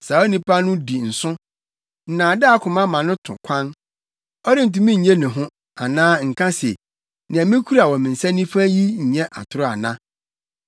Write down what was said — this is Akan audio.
Saa onipa no di nsõ, nnaadaa koma ma no to kwan; ɔrentumi nnye ne ho, anaa nka se, “Nea mikura wɔ me nsa nifa yi nyɛ atoro ana?”